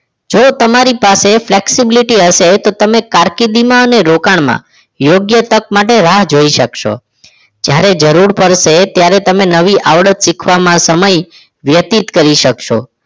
જો તમારી પાસે flexibility હશે તો તમે કારકિર્દીમાં અને રોકાણમાં યોગ્ય તક માટે રાહ જોઈ શકશો જ્યારે જરૂર પડશે ત્યારે નવી આવડત શીખવા માં સમય વ્યતીત કરી શકશો